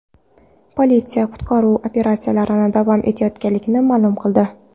Politsiya qutqaruv operatsiyalari davom etayotganligini ma’lum qildi.